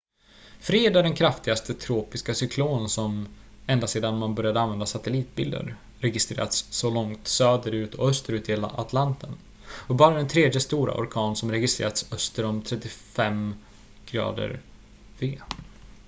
fred är den kraftigaste tropiska cyklon som ända sedan man började använda satellitbilder registrerats så långt söder- och österut i atlanten och bara den tredje stora orkan som registrerats öster om 35°v